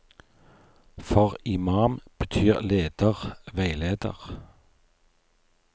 For imam betyr leder, veileder.